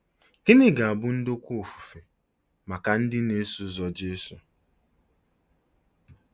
Gịnị ga-abụ ndokwa ofufe maka ndị na-eso ụzọ Jesu?